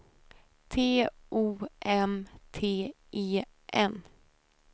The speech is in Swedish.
T O M T E N